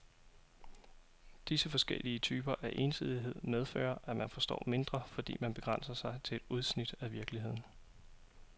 Disse forskellige typer af ensidighed medfører, at man forstår mindre, fordi man begrænser sig til udsnit af virkeligheden.